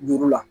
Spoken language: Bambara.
Duuru la